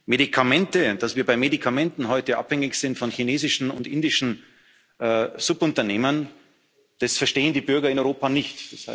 reden müssen. Medikamente dass wir bei Medikamenten heute abhängig sind von chinesischen und indischen Subunternehmern, das verstehen die Bürger in